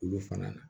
Olu fana na